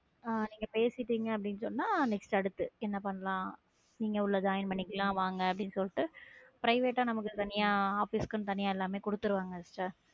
ஹம் நீங்க பேசிட்டீங்க அப்படின்னு சொன்னால் next அடுத்து என்ன பண்ணலாம் நீங்க உள்ள join பண்ணிக்கலாம் வாங்க அப்படின்னு சொல்லிட்டு private ஆ நமக்கு தனியா office குன்னு தனியா எல்லாமே கொடுத்திருவாங்க sister